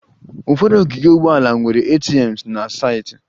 Ụfọdụ ogige ụgbọala nwere ATMs na saịtị